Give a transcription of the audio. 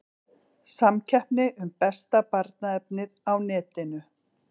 Samkeppni um besta barnaefnið á netinu